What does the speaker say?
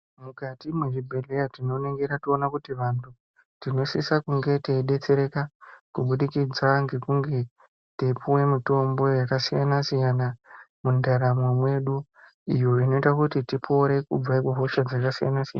Mukati mwezvibhendleya tinoona kuti vantu tinosisa kunge teidetsereka kubudikidza ngekunge teipuwa mitombo yakasiyana siyana mundaramo mwedu. Izvo inoita kuti tipore kubva kuhosha dzakasiyana siyana.